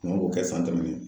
Mɔgɔw b'o kɛ de